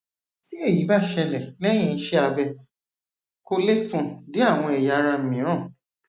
tí èyí bá ṣẹlẹ lẹyìn iṣẹ abẹ kò lè tàn dé àwọn ẹyà ara mìíràn